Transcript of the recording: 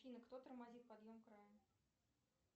афина кто тормозит подъем края